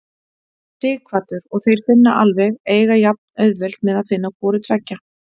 Sighvatur: Og þeir finna alveg, eiga jafnauðvelt með að finna hvoru tveggja?